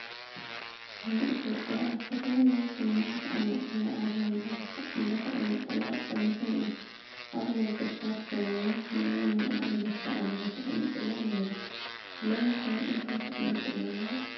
ናይ ኢትዮጵያ ኣብ ዝተፈላለዩ ዘመናት ኣብ ማእኸላ ኣርማ እንዳተቐመጠላ ፀኒሑ እዩ፡፡ ኣብ ነገስታት ዘመን ናይ ሞኣ ኣንበሳ አርማ ተቐሚጡላ ነይሩ፡፡ ሎሚ ኸ እንታይ ተቐሚጡላ ኣሎ?